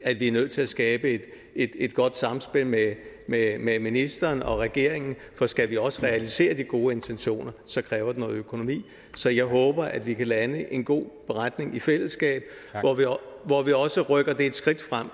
at vi er nødt til at skabe et godt samspil med med ministeren og regeringen for skal vi også realisere de gode intentioner kræver det noget økonomi så jeg håber at vi kan lande en god beretning i fællesskab hvor vi også rykker det et skridt frem